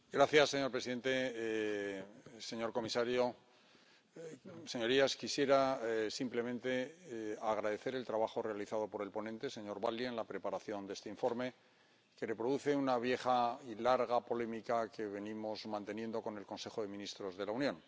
Señor presidente, señor comisario, señorías, quisiera simplemente agradecer el trabajo realizado por el ponente, señor Valli, en la preparación de este informe, que reproduce una vieja y larga polémica que venimos manteniendo con el Consejo de Ministros de la Unión.